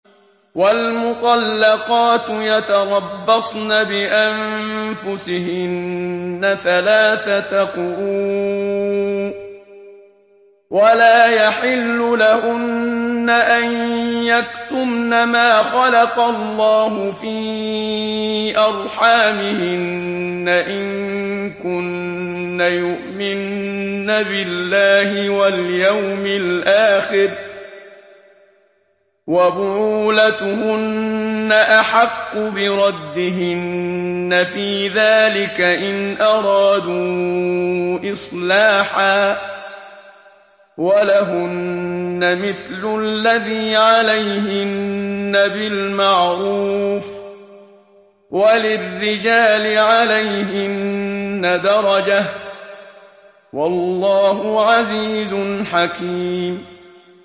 وَالْمُطَلَّقَاتُ يَتَرَبَّصْنَ بِأَنفُسِهِنَّ ثَلَاثَةَ قُرُوءٍ ۚ وَلَا يَحِلُّ لَهُنَّ أَن يَكْتُمْنَ مَا خَلَقَ اللَّهُ فِي أَرْحَامِهِنَّ إِن كُنَّ يُؤْمِنَّ بِاللَّهِ وَالْيَوْمِ الْآخِرِ ۚ وَبُعُولَتُهُنَّ أَحَقُّ بِرَدِّهِنَّ فِي ذَٰلِكَ إِنْ أَرَادُوا إِصْلَاحًا ۚ وَلَهُنَّ مِثْلُ الَّذِي عَلَيْهِنَّ بِالْمَعْرُوفِ ۚ وَلِلرِّجَالِ عَلَيْهِنَّ دَرَجَةٌ ۗ وَاللَّهُ عَزِيزٌ حَكِيمٌ